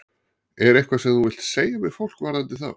Er eitthvað sem þú vilt segja við fólk varðandi þá?